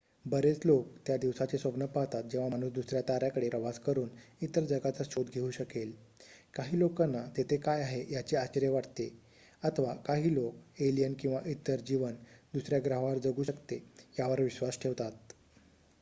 बरेच लोकं त्या दिवसाचे स्वप्न पाहतात जेव्हा माणूस दुसऱ्या ताऱ्याकडे प्रवास करुन इतर जगाचा शोध घेऊ शकेल काही लोकांना तेथे काय आहे याचे आश्चर्य वाटते अथवा काही लोकं एलियन किंवा इतर जीवन दुसर्‍या ग्रहावर जगू शकते यावर विश्वास ठेवतात